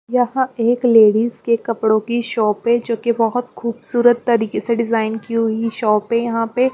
यहाँ एक लेडीज के कपड़ों की शॉप है जोकि बहोत खूबसूरत तरीके से डिज़ाइन की हुई शॉप है यहाँ पे --